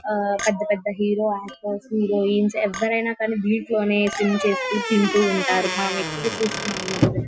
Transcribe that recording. ఆ పెద్ద పెద్ద హీరో ఆక్టర్స్ హీరోయిన్స్ ఎవ్వరైనా కానీ దింట్లోనే స్విమ్ చేసుకుని తింటూ ఉంటారు. మనం ఎక్కువగా చూస్తున్నాం ఈ మధ్య.